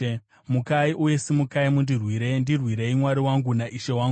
Mukai uye simukai mundirwire! Ndirwirei, Mwari wangu naIshe wangu.